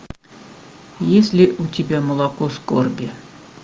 есть ли у тебя молоко скорби